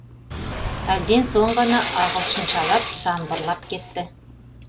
әлден соң ғана ағылшыншалап самбырлап кетті